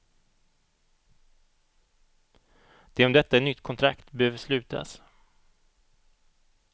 Det är om detta ett nytt kontrakt behöver slutas.